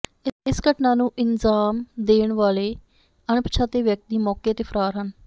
ਇਸ ਘਟਨਾਂ ਨੂੰ ਇਨਜਾਮ ਦੇਣ ਵਾਲੇ ਅਣਪਛਾਤੇ ਵਿਅਕਤੀ ਮੌਕੇ ਤੇ ਫਰਾਰ ਹਨ